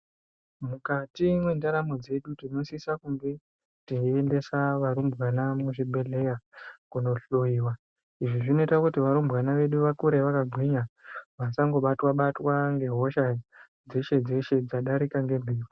Mukati mwendaramo dzedu tinosisa kunge teiendesa varumbwana muzvibhehleya kunohloyiwa. Izvi zvinoita kuti varumbwana vedu vakure vakagwinya vasangobatwa ngehosha dzeshe dzeshe dzadarika ngemhepo.